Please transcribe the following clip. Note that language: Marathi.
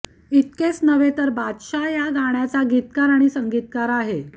इतकच नव्हे तर बादशहाच या गाण्याचा गीतकार आणि संगीतकार आहे